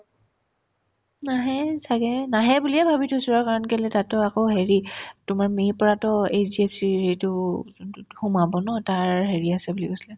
নাহে ছাগে নাহে বুলিয়ে ভাবি থৈছো আৰু কাৰণ কেলেই তাকতো আকৌ হেৰি তোমাৰ মে' ৰ পৰাতো HDFC ৰ এইটো যোনতোত সোমাব ন তাৰ হেৰি আছিলে বুলি কৈছিলে